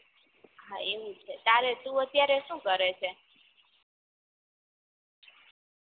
હા એવું છે ત્યારે તું અત્યારે સુ કરે છે